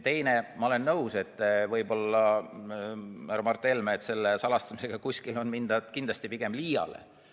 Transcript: Teiseks, ma olen nõus, härra Mart Helme, et selle salastamisega on kuskil mindud kindlasti pigem liiale.